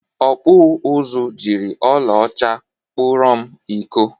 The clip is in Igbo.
Ọkpụ ụzụ jiri ọla ọcha kpụrọ m iko.